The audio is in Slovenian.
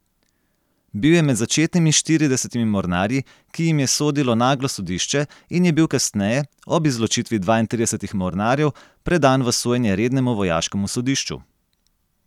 Bil je med začetnimi štiridesetimi mornarji, ki jim je sodilo naglo sodišče in je bil kasneje, ob izločitvi dvaintridesetih mornarjev, predan v sojenje rednemu vojaškemu sodišču.